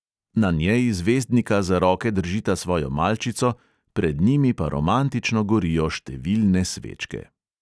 Na njej zvezdnika za roke držita svojo malčico, pred njimi pa romantično gorijo številne svečke.